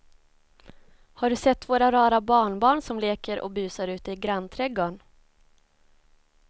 Har du sett våra rara barnbarn som leker och busar ute i grannträdgården!